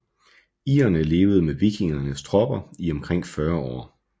Irerne levede med vikingernes tropper i omkring 40 år